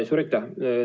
Suur aitäh!